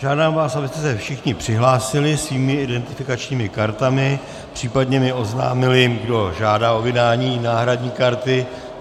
Žádám vás, abyste se všichni přihlásili svými identifikačními kartami, případně mi oznámili, kdo žádá o vydání náhradní karty.